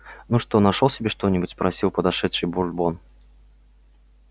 ну что нашёл себе что-нибудь спросил подошедший бурбон